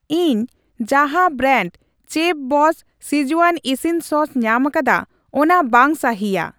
ᱤᱧ ᱡᱟᱦᱟᱸ ᱵᱨᱟᱱᱰ ᱪᱮᱯᱷᱵᱚᱥᱥ ᱥᱠᱤᱡᱣᱟᱱ ᱤᱥᱤᱱ ᱥᱚᱥ ᱧᱟᱢᱟᱠᱟᱫᱟ ᱚᱱᱟ ᱵᱟᱝ ᱥᱟᱹᱦᱤᱭᱟ ᱾